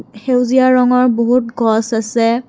সেউজীয়া ৰঙৰ বহুত গছ আছে।